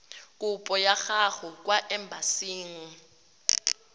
kopo ya gago kwa embasing